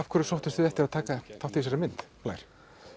hverju sóttust þið eftir að taka þátt í þessari mynd blær